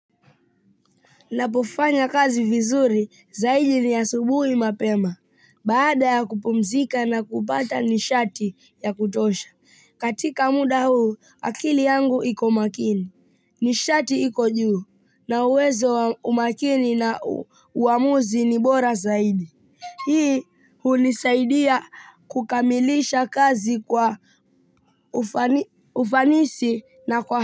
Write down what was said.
Ninapofanya kazi vizuri zaidi ni asubuhi mapema, baada ya kupumzika na kupata nishati ya kutosha. Katika muda huu, akili yangu iko makini, nishati iko juu, na uwezo wa umakini na uamuzi ni bora zaidi. Hii, hunisaidia kukamilisha kazi kwa ufanisi na kwa.